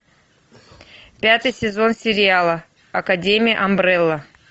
пятый сезон сериала академия амбрелла